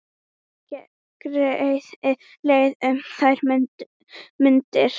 Gerði leið um þær mundir.